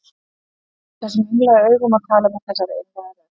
Hún myndi horfa á hann þessum einlægu augum og tala með þessari einlægu rödd.